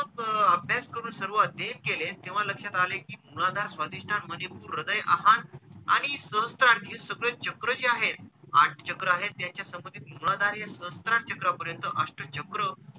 त्मक अभ्यास करुन सर्व अध्ययन केले तेव्हा लक्षात आले की मूलधार, स्वाधिष्ठान, मणिपूर, हृदय अनाहत आणि सहस्त्रार आणि हे सगळे चक्र जे आहेत, आठ चक्र आहेत त्यांच्या संमतीत मूलधार आणि सहस्त्रार चक्रापर्यंत अष्टचक्र,